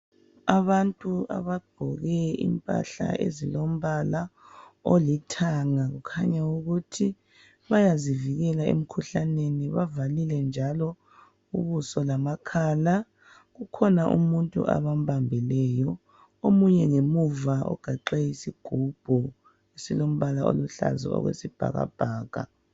Abantu abagqoke imphahla ezilombala olithanga kukhanya ukuthi bayazivikela emkhuhlaneni bavalile njalo ubuso lamakhala .Kukhona umuntu abambabileyo .Omunye ngemuva ugaxe isigubhu esilombala oluhlaza okwesibhakabhaka.